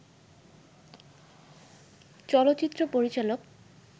চলচ্চিত্র পরিচালক